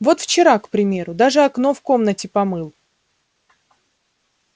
вот вчера к примеру даже окно в комнате помыл